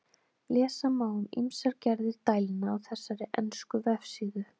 Lesa má um ýmsar gerðir dælna á þessari ensku vefsíðu.